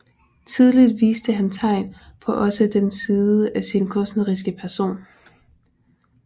Tidligt viste han tegn på også den side af sin kunstneriske person